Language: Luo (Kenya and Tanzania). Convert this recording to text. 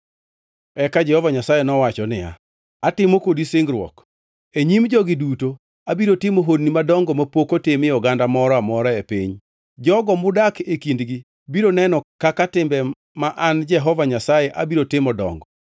Eka Jehova Nyasaye nowacho niya, “Atimo kodi singruok. E nyim jogi duto abiro timo honni madongo mapok otimie oganda moro amora e piny. Jogo mudak e kindgi biro neno kaka timbe ma an Jehova Nyasaye abiro timo dongo.